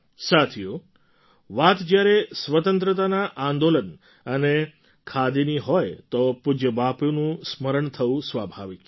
સાથીઓ વાત જ્યારે સ્વતંત્રતાના આંદોલન અને ખાદીની હોય તો પૂજ્ય બાપુનું સ્મરણ થવું સ્વાભાવિક છે